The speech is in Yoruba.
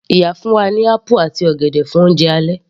Ìyá fún wa ní apple àti ọ̀gẹ̀dẹ̀ fún oúnjẹ alẹ́